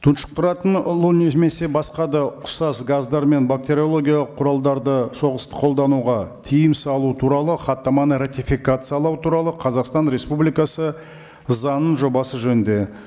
тұншықтыратын улы немесе басқа да ұқсас газдар мен бактериологиялық құралдарды соғыста қолдануға тыйым салу туралы хаттаманы ратификациялау туралы қазақстан республикасы заңының жобасы жөнінде